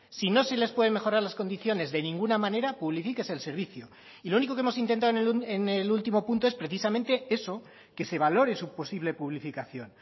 si no se les puede mejorar las condiciones de ninguna manera publifíquese el servicio y lo único que hemos intentado en el último punto es precisamente eso que se valore su posible publificación